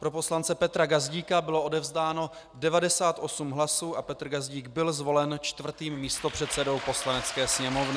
Pro poslance Petra Gazdíka bylo odevzdáno 98 hlasů a Petr Gazdík byl zvolen čtvrtým místopředsedou Poslanecké sněmovny.